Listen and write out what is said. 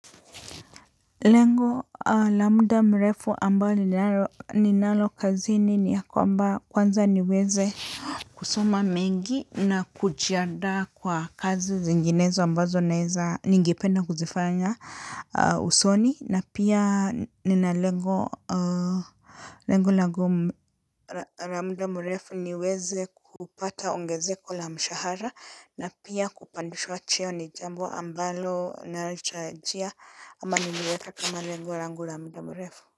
Lengo labda mrefu ambayo ninalo kazini ni ya kwamba kwanza niweze kusoma mengi na kujiandaa kwa kazi zinginezo ambazo naeza ningependa kuzifanya usoni na pia nina lengo. Lengu langu la muda mrefu niweze kupata ongezeko la mshahara na pia kupandishwa choo ni jambo ambalo nalichajia ama niliweza kama lengo langu la muda mrefu.